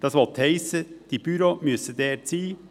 Das will heissen, dass die Büros dort sein müssen.